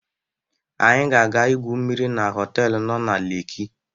anyi ga aga igwu mmiri na họtelu no na lekki